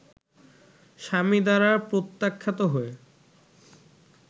স্বামী দ্বারা প্রত্যাখ্যাত হয়ে